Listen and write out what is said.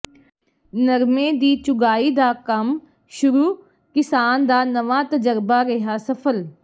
ਨਰਮੇ ਦੀ ਚੁਗਾਈ ਦਾ ਕੰਮ ਸ਼ੁਰੂ ਕਿਸਾਨ ਦਾ ਨਵਾਂ ਤਜਰਬਾ ਰਿਹਾ ਸਫ਼ਲ